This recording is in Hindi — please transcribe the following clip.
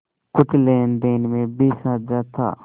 कुछ लेनदेन में भी साझा था